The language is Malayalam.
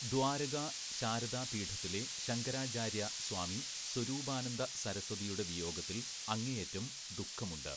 ദ്വാരക ശാരദാപീഠത്തിലെ ശങ്കരാചാര്യ സ്വാമി സ്വരൂപാനന്ദ സരസ്വതിയുടെ വിയോഗത്തിൽ അങ്ങേയറ്റം ദുഃഖമുണ്ട്.